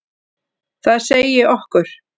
Það segi okkur: